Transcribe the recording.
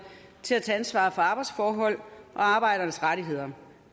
til at tage ansvar for arbejdsforhold og arbejdernes rettigheder